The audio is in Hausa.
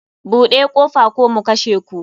Bude kofa ko mu kashe ku.